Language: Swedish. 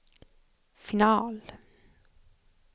final